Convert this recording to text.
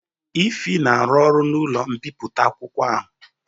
Ify na arụ ọrụ n'ụlọ mbipụta akwụkwọ ahụ